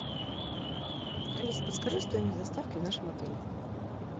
алиса подскажи стоимость доставки в нашем отеле